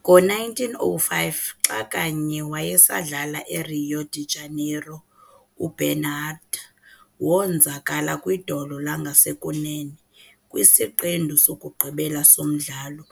Ngo1905, xa kanye wayesadlala eRio de Janeiro, uBernhardt wonzakala kwidolo langasekunene kwisiqendu sokugqibela somdlalo